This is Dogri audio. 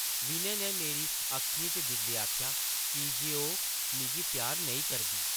विनय नै मेरी अक्खियें च दिखदे आखेआ, ‘‘की जे ओह् मिगी प्यार नेईं करदी ।’’